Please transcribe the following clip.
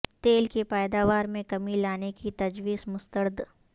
تیل کی پیداوار میں کمی لانے کی تجویز مسترد